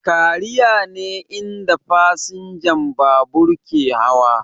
Kariya ne inda fasinjan babur ke hawa